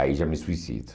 Aí já me suicido.